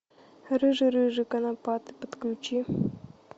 рыжий рыжий конопатый подключи